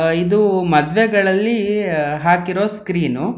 ಆ ಇದು ಮದುವೆಗಳಲ್ಲಿ ಹಾಕಿರೋ ಸ್ಕ್ರೀನ್ --